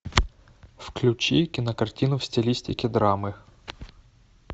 включи кинокартину в стилистике драмы